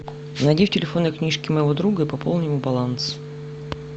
найди в телефонной книжке моего друга и пополни ему баланс